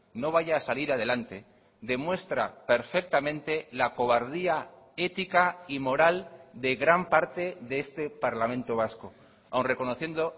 no vaya a salir adelante demuestra perfectamente la cobardía ética y moral de gran parte de este parlamento vasco aun reconociendo